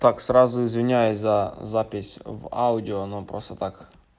так сразу извиняюсь за запись в аудио но просто так